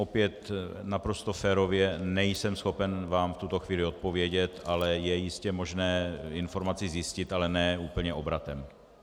Opět naprosto férově, nejsem schopen vám v tuto chvíli odpovědět, ale je jistě možné informaci zjistit, ale ne úplně obratem.